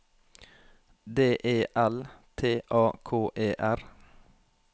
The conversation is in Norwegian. D E L T A K E R